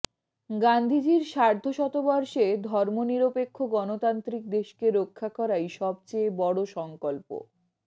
গান্ধীজির সার্ধশতবর্ষে ধর্মনিরপেক্ষ গণতান্ত্রিক দেশকে রক্ষা করাই সবচেয়ে বড় সংকল্প